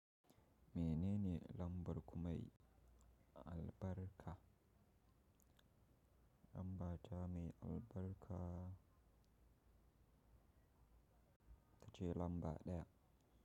Menene lambar kumai? Albarka. Lamba ta mai albarka ita ce lamba ɗaya.